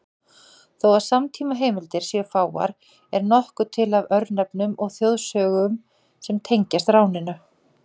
Þó að samtímaheimildir séu fáar er nokkuð til af örnefnum og þjóðsögum sem tengjast ráninu.